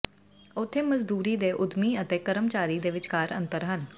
ਉੱਥੇ ਮਜ਼ਦੂਰੀ ਦੇ ਉੱਦਮੀ ਅਤੇ ਕਰਮਚਾਰੀ ਦੇ ਵਿਚਕਾਰ ਅੰਤਰ ਹਨ